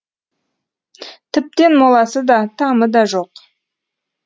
тіптен моласы да тамы да жоқ